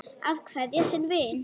Að kveðja sinn vin